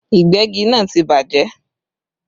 Ìgbẹ́gi náà ti bàjẹ́